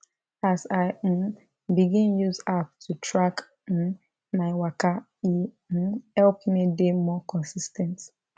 as i um begin use app to track um my waka e um help me dey more consis ten t